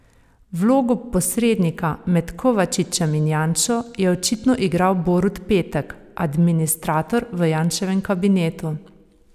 Vlogo posrednika med Kovačičem in Janšo je očitno igral Borut Petek, administrator v Janševem kabinetu.